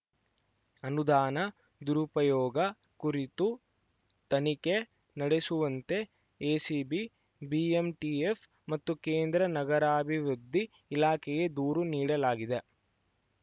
ಅನುದಾನ ದುರುಪಯೋಗ ಕುರಿತು ತನಿಖೆ ನಡೆಸುವಂತೆ ಎಸಿಬಿ ಬಿಎಂಟಿಎಫ್‌ ಮತ್ತು ಕೇಂದ್ರ ನಗರಾಭಿವೃದ್ಧಿ ಇಲಾಖೆಗೆ ದೂರು ನೀಡಲಾಗಿದೆ